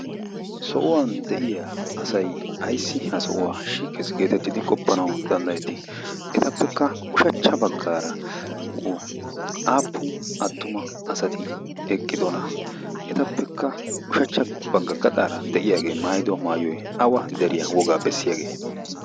so'uwan de'iya asay ayssi ha sohuwaa shiikkees geetettidi qoppanawu danddayettii etappekka ushachcha baggaara aappu attuma asati eqqidona etappekka ushachcha bagga gaxaara de'iyaagee maayido maayoi awa deriyaa wogaa bessiyaagee